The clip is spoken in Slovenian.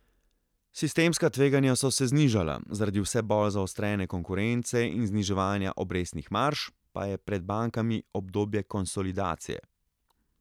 Sistemska tveganja so se znižala, zaradi vse bolj zaostrene konkurence in zniževanja obrestnih marž pa je pred bankami obdobje konsolidacije.